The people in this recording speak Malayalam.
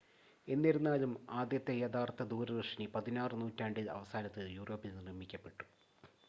എന്നിരുന്നാലും ആദ്യത്തെ യഥാർത്ഥ ദൂരദർശിനി 16 നൂറ്റാണ്ടിൻ്റെ അവസാനത്തിൽ യൂറോപ്പിൽ നിർമ്മിക്കപ്പെട്ടു